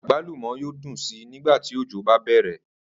Àgbàlúmò̩ yóò dùn si nigba tí òjò bá bè̩rè̩